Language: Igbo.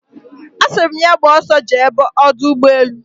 Asiri my ya gba oso jee Odu Ugbe elu